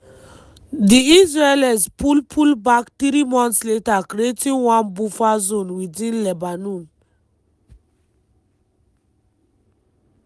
di israelis pull pull back three months later creating one buffer zone within lebanon.